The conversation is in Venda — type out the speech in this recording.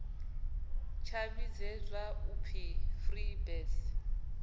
tsha vhidzwa u pfi freebirds